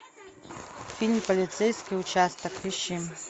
фильм полицейский участок ищи